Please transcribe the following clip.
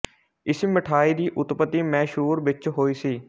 ਇਸ ਮਿਠਾਈ ਦੀ ਉੱਤਪਤੀ ਮੈਸੂਰ ਵਿੱਚ ਹੋਈ ਸੀ